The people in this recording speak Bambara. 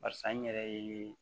Barisa n yɛrɛ ye